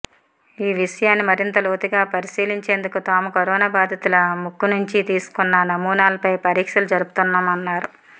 ఈ విషయాన్ని మరింత లోతుగా పరిశీలించేందుకు తాము కరోనా బాధితుల ముక్కు నుంచి తీసుకున్న నమూనాలపై పరీక్షలు జరుపుతున్నామన్నారు